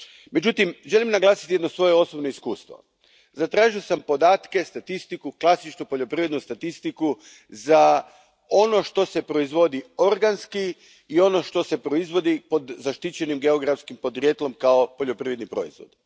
Međutim, želim naglasiti jedno svoje osobno iskustvo zatražio sam podatke, statistiku, klasičnu poljoprivrednu statistiku za ono što se proizvodi organski i ono što se proizvodi pod zaštićenim geografskim podrijetlom kao poljoprivredni proizvod.